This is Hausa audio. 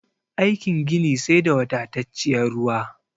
Aikin gini sai da wadatacciyar ruwa